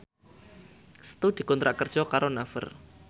Setu dikontrak kerja karo Naver